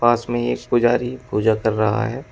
पास में एक पुजारी पूजा कर रहा है।